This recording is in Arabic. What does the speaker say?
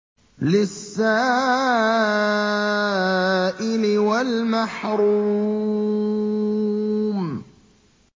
لِّلسَّائِلِ وَالْمَحْرُومِ